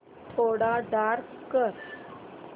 थोडा डार्क कर